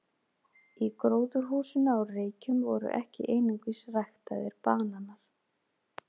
Í gróðurhúsinu á Reykjum voru ekki einungis ræktaðir bananar.